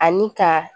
Ani ka